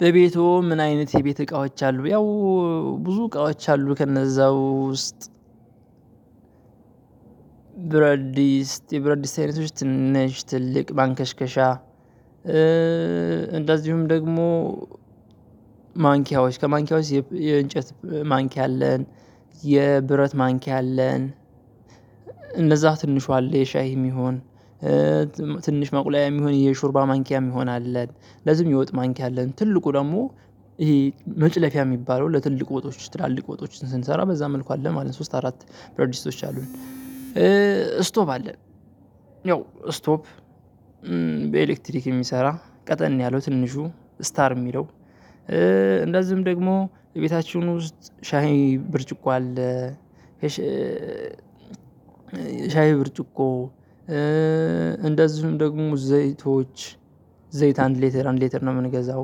በቤትወ ምን አይነት የቤት እቃዎች አሉ ያው ብዙ እቃዎች አሉ ከነዛው ውስጥ። ብረት ድስ የብረት ድስ አይነቶች ትንሽ ትልቅ ማንከሽከሻ። እንደዚሁም ደግሞ ማንኪያዎች ከማንኪያዎች የእንጨት ማንኪያ አለን የብረት ማንኪያ አለን። እነዛ ትንሿ አለ የሻይም ይሁን ትንሽ ማቁለያም ይሁን የሹርባ ማንኪያም ይሁን አለ። ለዚህም የውጥ ማንኪያ አለን ትልቁ ደግሞ ይሄ መጭለፊያ የሚባለው ለትልቁ ወጦች ትላልቅ ወጦች ስንሰራ በዛ መልኩ አለ ማለት ሶስት አራት ብረት ድስቶች አሉን። ስቶቭ አለ። ያው ስቶቭ በኤሌክትሪክ የሚሰራ ቀጠን ያለው ትንሹ ስታር የሚለው። እንደዚሁም ደግሞ የቤታችን ውስጥ ሻይ ብርጭቆ አለ። የሻ ሻይ ብርጭቆ እንደዚሁም ደግሞ ዘይቶች ዘይት አንድ ሊተር አንድ ሊተር ነው የምንገዛው።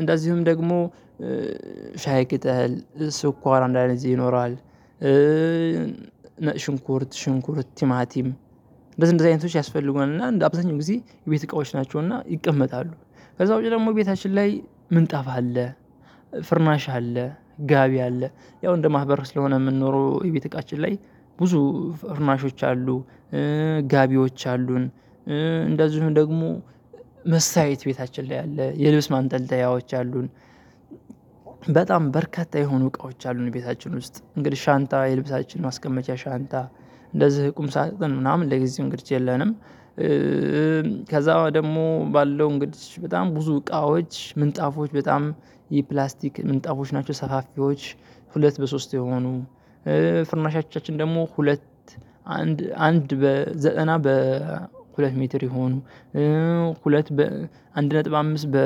እንደዚሁም ደግሞ ሻይ ቅጠል ስኳራ እንዳድዜ ይኖራል። ነጭ ሽንኩርት ሽንኩርት ቲማቲም እንደዚ እንደዚ አይነቶች ያስፈልጉናል እና አብዛኛውን ጊዜ የቤት እቃወች ናቸው እና ይቀመጣሉ። ከዛ ውጭ ደግሞ ቤታችን ላይ ምንጣፍ አለ። ፍራናሽ አለ ጋቢ አለ ያው እንደማህበረሰቡ ሁነን ነው የምንኖረው የቤት እቃችን ላይ ብዙ ፍርናሾች አሉ። ጋቢወች አሉን እንደዚሁም ደግሞ መስታየት ቤታችን ላይ አለ የልብስ ማንጠልጠያወች አሉን። በጣም በርካታ የሆኑ እቃዎች አሉን ቤታችን ውስጥ እንግዲህ ሻንጣ የልብሳችን ማስቀመጫ ሻንጣ እንደዚህ ቁም ሳጥን ምናምን ለጊዜው እንግዲህ የለንም። ከዛ ደግሞ ባለው እንግዲህ በጣም ብዙ እቃዎች ምንጣፎች በጣም የፕላስቲክ ምንጣፎች ናቸው ሰፋፊዎች። ሁለት በሶስት የሆኑ ፍርናሾቻችን ደግሞ ሁለት አንድ አንድ በዘጠና በሁለት ሜትር የሆኑ ሁለት በ አንድ ነጥብ አምስት በ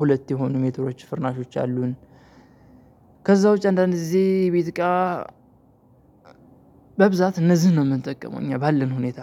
ሁለት የሆኑ ሜትሮች ፍርናሾች አሉን። ከዛ ውጪ አንዳንድ ጊዜ ቤት እቃ በብዛት እነዚህን ነው የምንጠቀመው እኛ ባለን ሁኔታ።